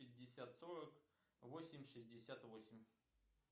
пятьдесят сорок восемь шестьдесят восемь